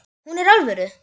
Hún er alvöru.